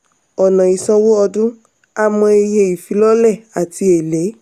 ọ̀nà ìsanwó ọdún: a mọ iye ìfilọ́lẹ̀ àti èlé.